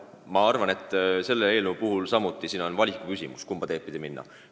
Ma arvan, et selle eelnõu puhul on valiku küsimus, kumba teed pidi minna.